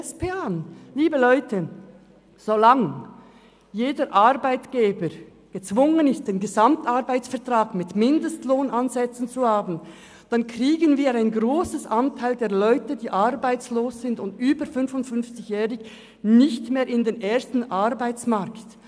Liebe Leute, so lange jeder Arbeitgeber gezwungen ist, den Gesamtarbeitsvertrag (GAV) mit Mindestlohnansätzen einzuhalten, kriegen wir einen grossen Anteil der Leute, die arbeitslos und über 55-jährig sind, nicht mehr in den ersten Arbeitsmarkt.